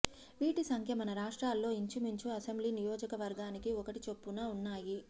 వీటి సంఖ్య మన రాష్ట్రాల్లో ఇంచుమించు అసెంబ్లీ నియోజకవర్గానికి ఒకటి చొప్పున ఉన్నాయి